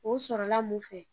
O sɔrɔla mun fɛ